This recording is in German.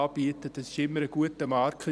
Das ist immer ein guter Marker.